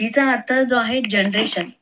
g चा अर्थ जो आहे generation